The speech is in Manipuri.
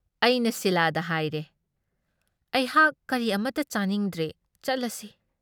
ꯑꯩꯅ ꯁꯤꯂꯥꯗ ꯍꯥꯏꯔꯦ "ꯑꯩꯍꯥꯛ ꯀꯔꯤ ꯑꯃꯠꯇ ꯆꯥꯅꯤꯡꯗ꯭ꯔꯦ, ꯆꯠꯂꯁꯤ "꯫